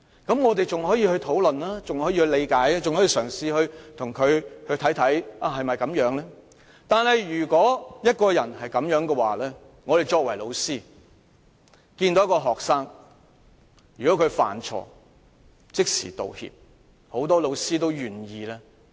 不過，如果一個人有他的表現......如果有學生犯錯而即時道歉，很多老師都願意原諒他。